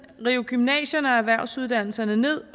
riv gymnasierne og erhvervsuddannelserne ned